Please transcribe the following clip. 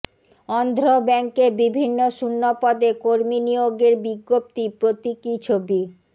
অন্ধ্র ব্যাঙ্কে বিভিন্ন শূন্যপদে কর্মী নিয়োগের বিজ্ঞপ্তি প্রতীকী ছবি